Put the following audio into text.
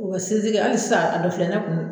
O ka sinzin kɛ hali sisan a dɔ filɛ ne kun na.